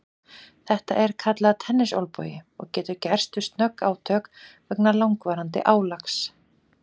Þetta er kallað tennisolnbogi og getur gerst við snögg átök vegna langvarandi álags.